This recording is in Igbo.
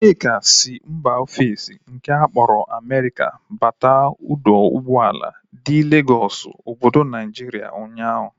Nneka si mba ofesi nke akpọrọ Amerika bata ọdọ ụgbọala dị n'Legọsụ obodo Naijiria ụnyaahụ